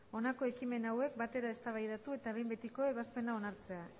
honako ekimen hauek batera eztabaidatu eta behin betiko ebazpena hartzea